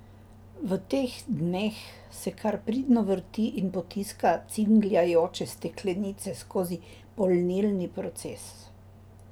V teh dneh se kar pridno vrti in potiska cingljajoče steklenice skozi polnilni proces.